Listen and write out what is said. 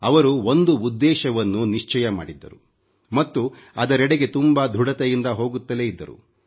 ಅವರು ಒಂದು ಉದ್ದೇಶವನ್ನು ನಿಶ್ಚಯ ಮಾಡಿದ್ದರು ಮತ್ತು ಅದರೆಡೆಗೆ ತುಂಬಾ ಧೃಡತೆಯಿಂದ ಹೋಗುತ್ತಲೇ ಇದ್ದರು